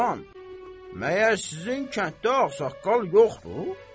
Olan, məyər sizin kənddə ağsaqqal yoxdur?